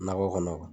Nakɔ kɔnɔ